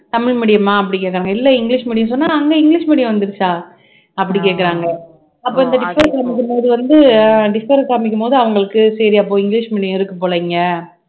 Tamil medium ஆ அப்படி கேக்கறாங்க இல்லை இங்கிலிஷ் medium சொன்னா அங்க இங்கிலிஷ் medium வந்துருச்சா அப்படி கேக்குறாங்க அப்ப அந்த differ அ காமிக்கும்போது வந்து அஹ் differ அ காமிக்கும்போது அவங்களுக்கு சரியா போய் இங்கிலிஷ் medium இருக்கு போல இங்க